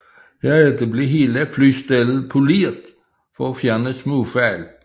Herefter blev hele flystellet poleret for at fjerne småfejl